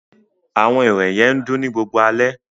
Awọn irẹ̀ yẹ n dùn ni gbogbo ale